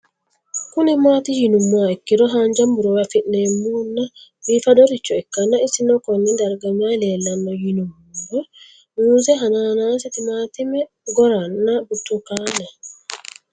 Kuni mati yinumoha ikiro hanja murowa afine'mona bifadoricho ikana isino Kone darga mayi leelanno yinumaro muuze hanannisu timantime gooranna buurtukaane